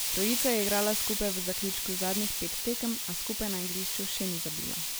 Trojica je igrala skupaj v zaključku zadnjih petih tekem, a skupaj na igrišču še ni zabila.